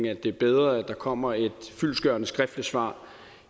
at det er bedre at der kommer et fyldestgørende skriftligt svar